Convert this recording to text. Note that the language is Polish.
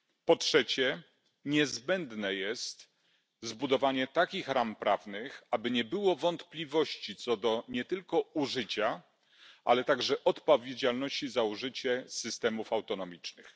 Po trzecie, niezbędne jest zbudowanie takich ram prawnych, aby nie było wątpliwości co do nie tylko użycia, ale także odpowiedzialności za użycie systemów autonomicznych.